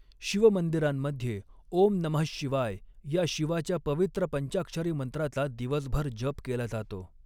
शिवमंदिरांमध्ये 'ओम नमः शिवाय' या शिवाच्या पवित्र पंचाक्षरी मंत्राचा दिवसभर जप केला जातो.